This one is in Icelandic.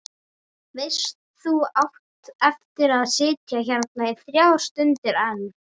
Veist að þú átt eftir að sitja hérna í þrjár stundir enn.